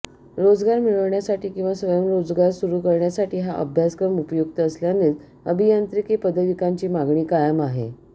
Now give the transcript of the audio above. रोजगार मिळविण्यासाठी किंवा स्वयंरोगजार सुरू करण्यासाठी हा अभ्यासक्रम उपयुक्त असल्यानेच अभियांत्रिकी पदविकांची मागणी कायम आहे